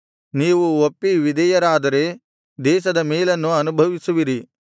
ನೀವು ಒಪ್ಪಿ ವಿಧೇಯರಾದರೆ ದೇಶದ ಮೇಲನ್ನು ಅನುಭವಿಸುವಿರಿ